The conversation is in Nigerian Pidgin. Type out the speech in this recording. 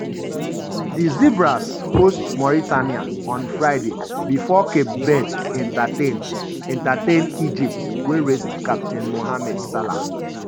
di zebras host mauritania on friday bifor cape verde entertain entertain egypt wey rest captain mohamed salah.